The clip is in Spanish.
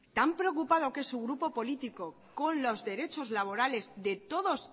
tan preocupado que es su grupo político con los derechos laborales de todos